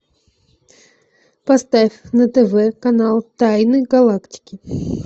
поставь на тв канал тайны галактики